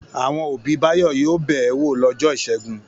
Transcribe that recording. Àwọn òbí Báyọ̀ yóò bẹ̀ ẹ́ wò lọ́jọ́ ìṣẹ́gun.